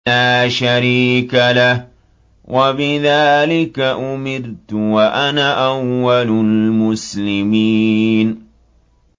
لَا شَرِيكَ لَهُ ۖ وَبِذَٰلِكَ أُمِرْتُ وَأَنَا أَوَّلُ الْمُسْلِمِينَ